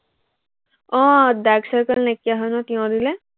আহ dark circle নাইকিয়া হয় ন, তিয়হ দিলে